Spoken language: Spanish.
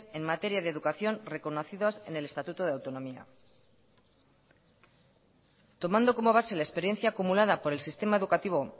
en materia de educación reconocidos en el estatuto de autonomía tomando como base la experiencia acumulada por el sistema educativo